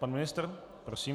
Pan ministr, prosím.